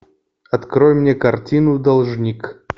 открой мне картину должник